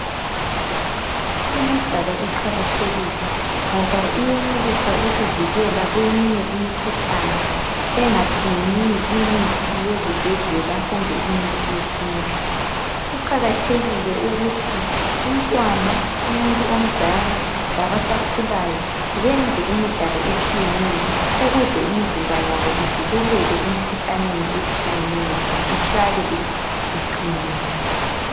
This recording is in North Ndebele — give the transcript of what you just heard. Imidlalo iqakathekile ngoba iyenelisa ukusivikela kweminye imikhuhlane engadingi imithi yezibhedlela kumbe imithi yesintu kuqakathekile ukuthi umntwana umuntu omdala labasakhulayo benze imidlalo etshiyeneyo ukuze imizimba yabo ivikeleke emkhuhlaneni etshiyeneyo ihlale iqinile.